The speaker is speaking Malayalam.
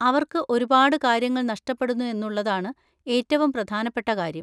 അവർക്ക് ഒരുപാട് കാര്യങ്ങൾ നഷ്ടപ്പെടുന്നു എന്നുള്ളതാണ് ഏറ്റവും പ്രധാനപ്പെട്ട കാര്യം.